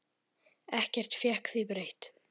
Ekkert fékk því breytt.